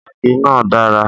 Àgé náà dára